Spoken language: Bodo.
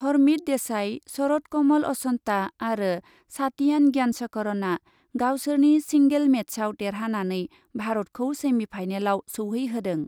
हरमीत देसाइ, शरत कमल अचन्ता आरो सातियान ज्ञानशेखरनआ गावसोरनि सिंगेल मेचआव देरहानानै भारतखौ सेमिफाइनालाव सौहैहोदों।